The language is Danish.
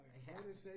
Ja